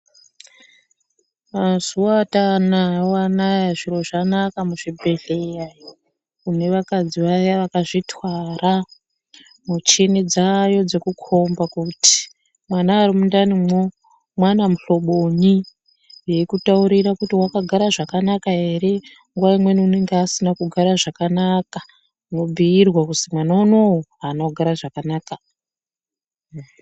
Mazuwa atanawo anaya zviro zvanaka muzvibhedhleya neakadzi aya vakazvitwara muchini dzayo dzekujomba kuti mwana ari mundanimwo mwana muhlobonyi eikutaurira kuti wakagara zvakanaka ere nguwa imweni unenge asina kugara zvakanaka mwobiirwa kuzi mwana unowu aana kugara zvakanaka.